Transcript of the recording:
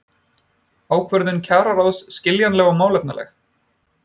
Ákvörðun kjararáðs skiljanleg og málefnaleg